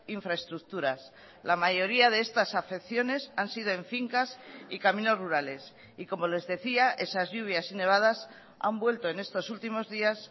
infraestructuras la mayoría de estas afecciones han sido en fincas y caminos rurales y como les decía esas lluvias y nevadas han vuelto en estos últimos días